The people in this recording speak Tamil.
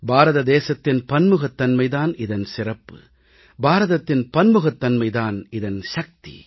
பாரத தேசத்தின் பன்முகத்தன்மை தான் இதன் சிறப்பு பாரதத்தின் பன்முகத்தன்மை தான் இதன் சக்தி